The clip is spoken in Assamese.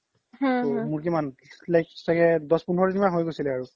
মোৰ কিমান চাগে দ্শ পোন্ধৰ দিন হৈ গৈছিল আৰু